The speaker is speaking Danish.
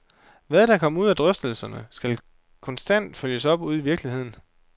Hvad der kommer ud af drøftelserne, skal konstant følges op ude i virkeligheden.